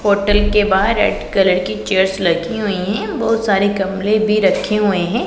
Hotel के बाहर red colour की चेयर्स लगी हुई हैं बहुत सारे गमले भी रखे हुए हैं।